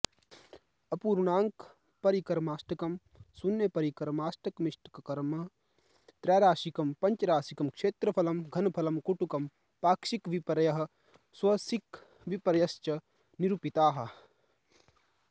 अपूर्णाङ्कपरिकर्माष्टकं शून्यपरिकर्माष्टकमिष्टकर्म त्रैराशिकं पञ्चराशिकं क्षेत्रफलं घनफलं कुट्टकं पाक्षिकविपर्ययः सवशिकविपर्ययश्च निरूपिताः